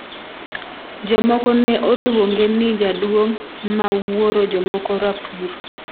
jomoko ne oluonge ni 'jaduong' ma wuoro' jomoko rapur